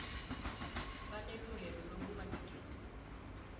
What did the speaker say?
banelungelo lokuba negezi